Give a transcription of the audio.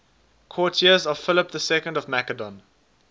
courtiers of philip ii of macedon